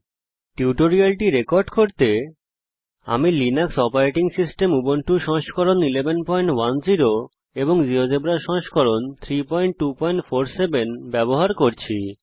এই টিউটোরিয়ালটি রেকর্ড করার জন্যে আমি লিনাক্স অপারেটিং সিস্টেম উবুন্টু সংস্করণ 1110 জীয়োজেব্রা সংস্করণ 3247 ব্যবহার করছি